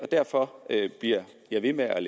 derfor bliver jeg ved med at